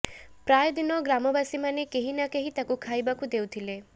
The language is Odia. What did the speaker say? ପ୍ରାୟ ଦିନ ଗ୍ରାମବାସୀ ମାନେ କେହି ନା କେହି ତାକୁ ଖାଇବାକୁ ଦେଉଥିଲେ